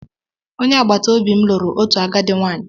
Onye agbata obi m lụrụ otu agadi nwaanyị.